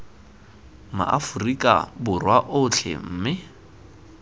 ma aforika borwa otlhe mme